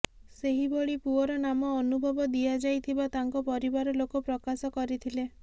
ସେହିଭଳି ପୁଅର ନାମ ଅନୁଭବ ଦିଆଯାଇଥିବା ତାଙ୍କ ପରିବାର ଲୋକ ପ୍ରକାଶ କରିଥିଲେ